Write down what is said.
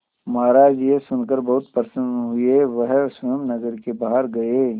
महाराज यह सुनकर बहुत प्रसन्न हुए वह स्वयं नगर के बाहर गए